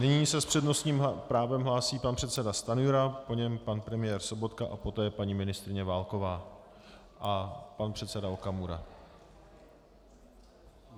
Nyní se s přednostním právem hlásí pan předseda Stanjura, po něm pan premiér Sobotka a poté paní ministryně Válková a pan předseda Okamura.